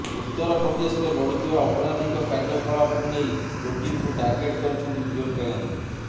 ଉତ୍ତରପ୍ରଦେଶରେ ବଢ଼ୁଥିବା ଅପରାଧିକ କାର୍ଯ୍ୟକଳାପକୁ ନେଇ ଯୋଗୀଙ୍କୁ ଟାର୍ଗେଟ କରିଛନ୍ତି ପ୍ରିୟଙ୍କା ଗାନ୍ଧୀ